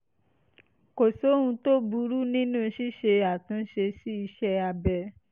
kò sóhun tó burú nínú ṣíṣe àtúnṣe sí iṣẹ́ abẹ